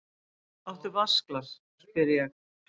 Áttu vatnsglas, spyr ég.